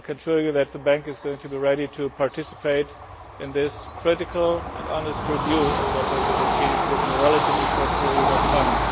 I can assure you that the Bank is going to be ready to participate in this critical and honest review of what has been achieved within a relatively short period of time.